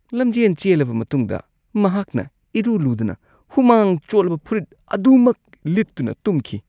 ꯂꯝꯖꯦꯟ ꯆꯦꯜꯂꯕ ꯃꯇꯨꯡꯗ ꯃꯍꯥꯛꯅ ꯏꯔꯨ ꯂꯨꯗꯅ ꯍꯨꯃꯥꯡ ꯆꯣꯠꯂꯕ ꯐꯨꯔꯤꯠ ꯑꯗꯨꯃꯛ ꯂꯤꯠꯇꯨꯅ ꯇꯨꯝꯈꯤ ꯫